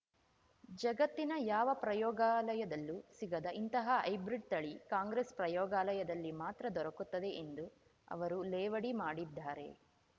ಜಗತ್ತಿನ ಯಾವ ಪ್ರಯೋಗಾಲಯದಲ್ಲೂ ಸಿಗದ ಇಂತಹ ಹೈಬ್ರಿಡ್‌ ತಳಿ ಕಾಂಗ್ರೆಸ್‌ ಪ್ರಯೋಗಾಲಯದಲ್ಲಿ ಮಾತ್ರ ದೊರಕುತ್ತದೆ ಎಂದು ಅವರು ಲೇವಡಿ ಮಾಡಿದ್ದಾರೆ